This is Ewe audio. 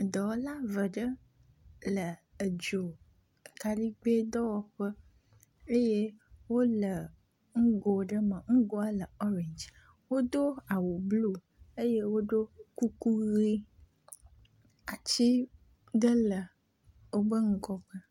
Dɔwɔla ve ɖe le edzo kaligbe dɔ wɔmƒe eye wole ŋgo ɖe me nugoa le orange, wodo awu blu eye wodo kuku ʋi. Ati ɖe le wobe ŋgɔ.